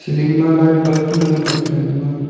ling ma light bulb tu ngan ang kapley ema a.